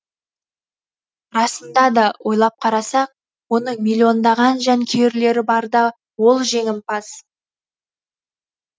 расында да ойлап қарасақ оның миллиондаған жанкүйерлері барда ол жеңімпаз